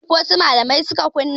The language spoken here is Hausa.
Youtube wasu malamai suka kunna.